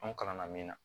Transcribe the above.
Anw kalanna min na